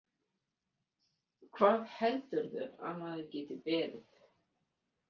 Hvað heldurðu að maður geti beðið?